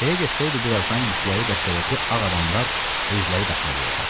Belə getsəydi, birazdan yükləri dəstədəki ağ adamlar özləri daşımalı olacaqdılar.